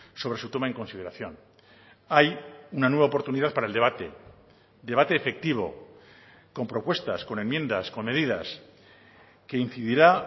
sobre su toma en consideración hay una nueva oportunidad para el debate debate efectivo con propuestas con enmiendas con medidas que incidirá